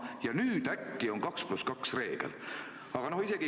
Ja nüüd äkki kehtib 2 + 2 reegel!